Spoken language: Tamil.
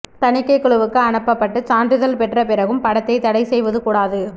தணிக்கை குழுவுக்கு அனுப்பப்பட்டு சான்றிதழ் பெற்ற பிறகும் படத்தை தடை செய்வது கூடாது